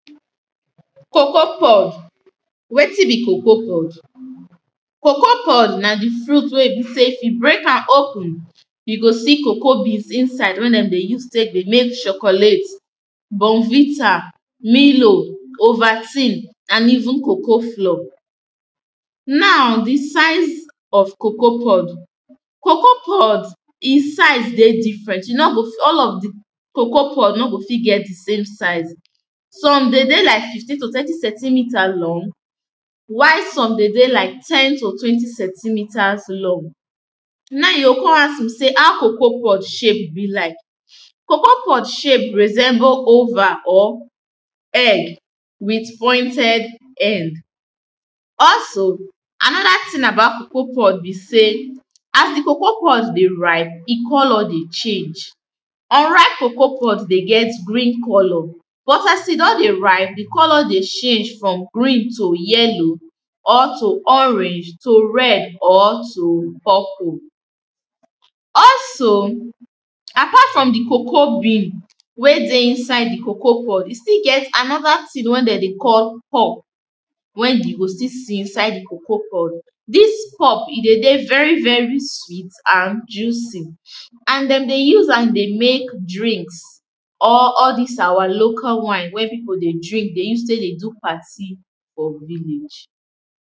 cocoa pod wetin be cocoa pod cocoa pod na the fruit wey e be say you go see cocoa beans inside wey dem de use take dey make chocolate bournvita milo ovaltin and even cocoa flour now, the size of cocoa pod cocoa pod e size dey different, you no go all of the cocoa pod no go fit get the same size some de dey like fifteen to twenty centimeter long while some de dey like ten to twenty centimiters long now, you go come ask me say how cocoa pod be like? cocoa pod shape resemble oval or egg with pointed end also another thing about cocoa pod be say as the cocoa pod de ripe, e colour dey change unripe cocoa pod dey get green colour but as e don dey ripe, the colour dey change from green to yellow or to orange to red or to purple also apart from the cocoa bean wey dey inside the cocoa pod, e still get anoda tin wey dem dey call pulp we you go still see inside the cocoa pod this pulp, e de dey very very sweet and juicy? and dem dey use am dey make drinks or all dis our local wine wey pipu dey drink, dey use take dey do party for village